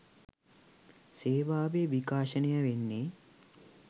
සේවාවේ විකාශනය වෙන්නේ